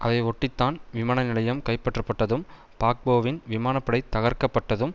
அதை ஒட்டி தான் விமான நிலையம் கைப்பற்றப்பட்டதும் பாக்போவின் விமான படை தகர்க்கப்பட்டதும்